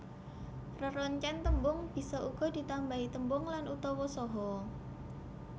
Reroncèn tembung bisa uga ditambahi tembung lan utawa saha